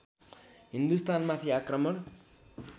हिन्दुस्तानमाथि आक्रमण